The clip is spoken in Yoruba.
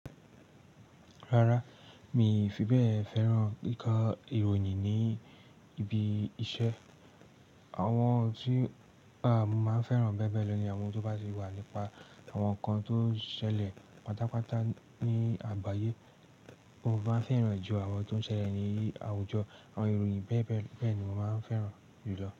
Rárá, mi fi bẹ́ẹ̀ fẹ́ràn kíkọ ìròyìn ní ibi iṣẹ́. Àwọn ohun tí pa mo máa ń fẹ́ràn bẹ́ẹ̀ bẹ́ẹ̀ lọ ni àwọn tó bá sì wà nípa àwọn nǹkan tó ṣẹlẹ̀ pátápátá ní àgbáyé. Mo máa ń fẹ́ràn ju àwọn tó ṣẹlẹ̀ ní àwùjọ, àwọn ìròyìn bẹ́ẹ̀ bẹ́ẹ̀ bẹ́ẹ̀ ni mo máa ń fẹ́ràn jù lọ.